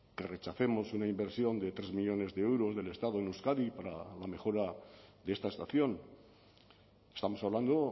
que rechacemos una inversión de tres millónes de euros del estado en euskadi para la mejora de esta estación estamos hablando